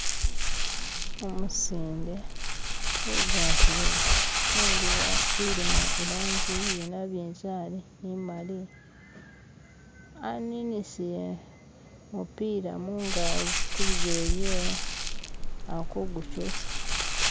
Umusinde ugwatile engubo ilimo ilangi iye nabinzali ni mali aninisile mupiira kubijele byewe ali kugukyusa